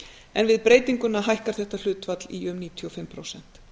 en við breytinguna hækkar þetta hlutfall í um níutíu og fimm prósent